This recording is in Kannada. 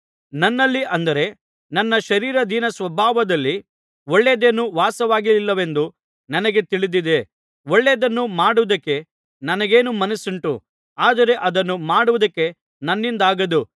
ನನ್ನಲ್ಲಿ ಅಂದರೆ ನನ್ನ ಶರೀರಾಧೀನಸ್ವಭಾವದಲ್ಲಿ ಒಳ್ಳೆಯದೇನೂ ವಾಸವಾಗಿಲ್ಲವೆಂದು ನನಗೆ ತಿಳಿದಿದೆ ಒಳ್ಳೆಯದನ್ನು ಮಾಡುವುದಕ್ಕೆ ನನಗೇನೋ ಮನಸ್ಸುಂಟು ಆದರೆ ಅದನ್ನು ಮಾಡುವುದಕ್ಕೆ ನನ್ನಿಂದಾಗದು